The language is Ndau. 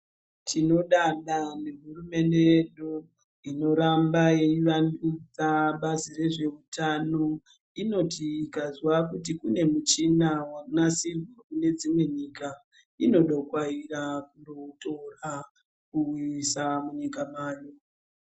Tinodada nehurumende yedu inoramba yeivandudza basa rezveutano. Inoti ikazwa kuti kune muchina wanasirwa kune dzimwe nyika, inodokwaira kuutora kuuisa munyika mayo.